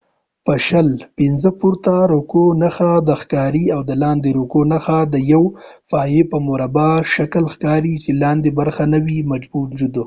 د پورته رکوع نښې د v په شکل ښکاري او د لاندې رکوع نښته د یوې پایې یا مربع په شکل ښکاري چې لاندې برخه نه وي موجود